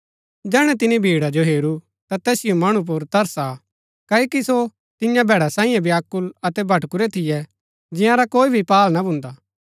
जैहणै तिनी भीड़ा जो हेरू ता तैसिओ मणु पुर तरस आ क्ओकि सो तियां भैड़ा सैईयें व्याकुल अतै भटकुरै थियै जंयारा कोई भी पाहल ना भुन्दा